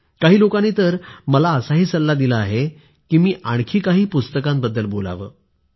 काही लोकांनी तर मला असा सल्ला दिला आहे की मी आणखी काही पुस्तकांबद्दल बोलावं